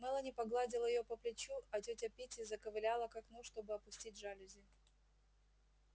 мелани погладила её по плечу а тётя питти заковыляла к окну чтобы опустить жалюзи